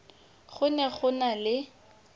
go ne go na le